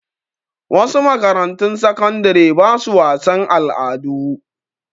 Wasu makarantun sakandare ba su wasan al'adu.